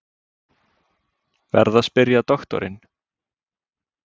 Verð að spyrja doktorinn.